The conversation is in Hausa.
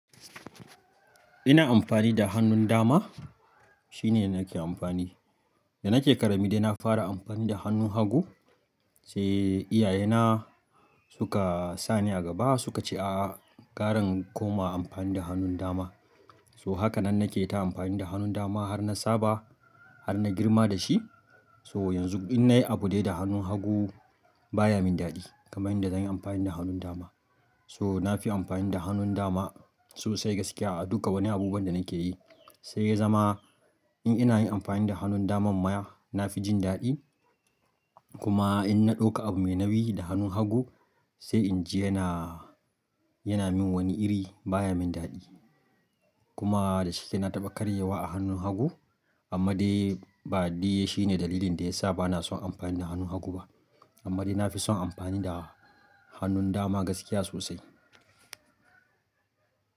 Ina amfani da hannun dama shine nake amfani. Da nake ƙarami dai na fara amfani da hannun hagu sai iyaye na suka sani a gaba suka ce a'a gara in koma amfani da hannun dama. So haka nan nake ta amfani da hannun dama har na saba har na girma da shi. So yanzu in nayi abu dai da hannun hagu baya min daɗi kamar yadda zan yi amfani da hannun dama. So nafi amfani da hannun dama sosai gaskiya a duka wani abubuwan da nake yi. Sai ya zama in ina yin amfani da hannun daman ma nafi jin daɗi. Kuma in na ɗauka abu mai nawi da hannun hagu sai in ji yana, yana min wani iri baya min daɗi. Kuma da shike na taɓa karyewa a hannun hagu. Amma dai bade shine dalilin da yasa bana son amfani da hannun hagu ba. Amma dai nafi son amfani da hannun dama gaskiya sosai.